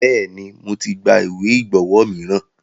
Bẹ́ẹ̀ni, mo ti gba ìwé ìgbọ́wo miran.